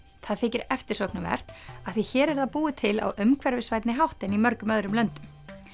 það þykir eftirsóknarvert af því hér er það búið til á umhverfisvænni hátt en í mörgum öðrum löndum